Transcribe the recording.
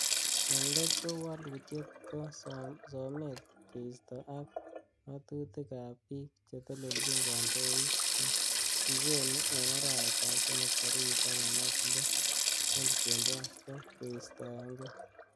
En let ko woluutiet ko somet keisto, ak ngatutik ab bik chetelchin kondoik che kikonu en arawetab somok tarigit taman ak loo,2021,ko keistoenge.